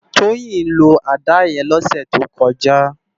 Toyin ló àdá yèn lòsè tókòjá